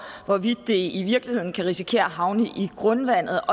hvorvidt det i virkeligheden kan risikere at havne i grundvandet